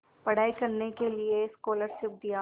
पढ़ाई करने के लिए स्कॉलरशिप दिया